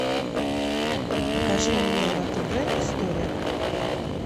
покажи мне на тв история